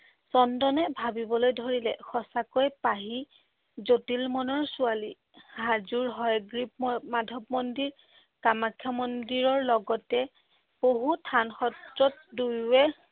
চন্দনে ভাবিবলৈ ধৰিলে সঁচাকৈ পাহি জটিল মনৰ ছোৱালী। হাজোৰ হয়গ্ৰীৱ ম~ মাধৱ মন্দিৰ, কামাখ্যা মন্দিৰৰ লগতে বহুত থান সাত্ৰত দুয়োৱে